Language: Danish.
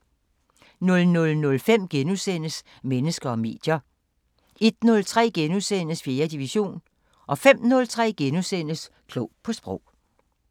00:05: Mennesker og medier * 01:03: 4. division * 05:03: Klog på Sprog *